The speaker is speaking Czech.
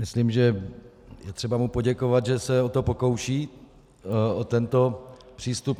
Myslím, že je třeba mu poděkovat, že se o to pokouší, o tento přístup.